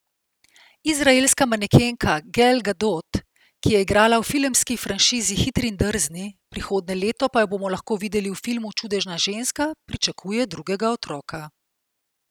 Izraelska manekenka Gal Gadot, ki je igrala v filmski franšizi Hitri in drzni, prihodnje leto pa jo bomo lahko videli v filmu Čudežna ženska, pričakuje drugega otroka.